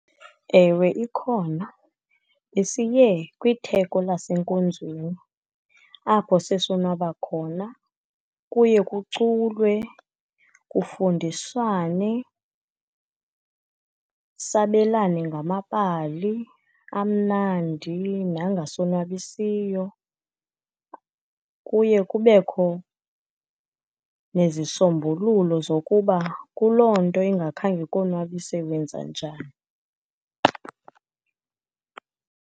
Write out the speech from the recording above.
Ewe, ikhona. Besiye kwitheko lasenkonzweni, apho sesonwaba khona. Kuye kuculwe, kufundiswane, sabelane ngamabali amnandi nangasonwabisiyo. Kuye kubekho nezisombululo zokuba kuloo nto ingakhange ikonwabise wenza njani.